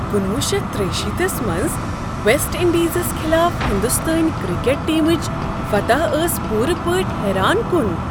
کُنوُہ شیتھ تریٚیہ شیٖتھس منٛز ویسٹ انڈیزس خلاف ہنٛدستٲنۍ کرکٹ ٹیمٕچہ فتح ٲس پوٗرٕ پٲٹھۍ حٲران کُن۔!